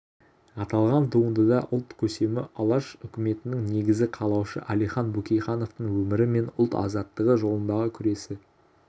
аталған туындыда ұлт көсемі алаш үкіметінің негізін қалаушы әлихан бөкейхановтың өмірі мен ұлт азаттығы жолындағы күресі